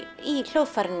í hljóðfærinu